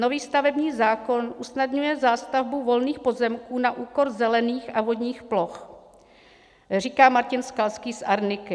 Nový stavební zákon usnadňuje zástavbu volných pozemků na úkor zelených a vodních ploch," říká Martin Skalský z Arniky.